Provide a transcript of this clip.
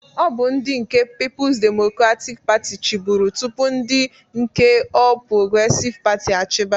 Ọ bụ ndị nke Pipus Demokratik Patị chịburu tụpụ ndị nke Ọl Progresịv Patị achiba.